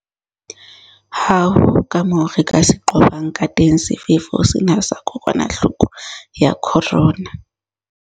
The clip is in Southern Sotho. Ha ho kamoo re ka se qobang kateng sefefo sena sa kokwanahloko ya corona.